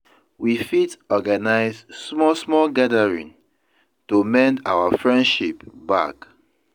We fit organize small small gathering to mend our friendship back.